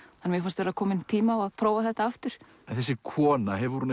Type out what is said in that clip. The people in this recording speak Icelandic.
mér fannst vera kominn tími á að prófa þetta aftur þessi kona hefur hún